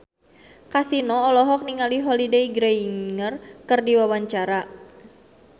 Kasino olohok ningali Holliday Grainger keur diwawancara